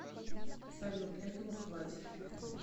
салют этого хватит